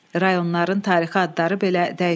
Rayonların tarixi adları belə dəyişdirildi.